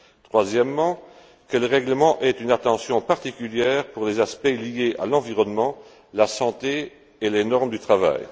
Troisièmement, que le règlement accorde une attention particulière aux aspects liés à l'environnement, à la santé et aux normes du travail.